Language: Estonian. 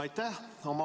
Aitäh!